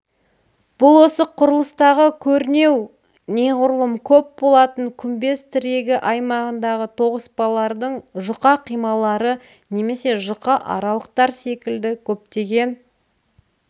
бұл осы құрылыстағы кернеу неғұрлым көп болатын күмбез тірегі аймағындағы тоғыспалардың жұқа қималары немесе жұқа аралықтар секілді көптеген